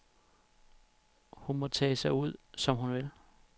Hun må tage sig ud, som hun vil.